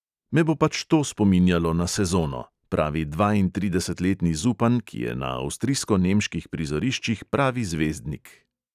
Me bo pač to spominjalo na sezono, pravi dvaintridesetletni zupan, ki je na avstrijsko-nemških prizoriščih pravi zvezdnik.